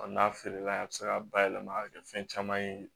N'a feere la a bi se ka bayɛlɛma ka kɛ fɛn caman ye